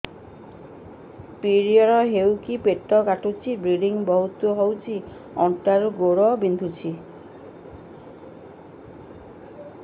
period ହୋଇକି ପେଟ କାଟୁଛି ବ୍ଲିଡ଼ିଙ୍ଗ ବହୁତ ହଉଚି ଅଣ୍ଟା ରୁ ଗୋଡ ବିନ୍ଧୁଛି